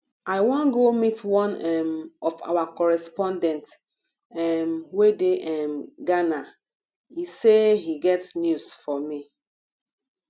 i wan go meet one um of our correspondent um wey dey um ghana he say he get news for me